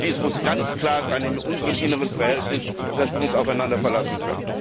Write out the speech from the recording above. Dies muss ganz klar sein in unserem inneren Verhältnis, dass wir uns aufeinander verlassen können.